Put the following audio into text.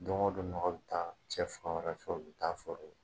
Don go don nɔgɔ be taa cɛ fan wɛrɛ fɛ u be taa foro la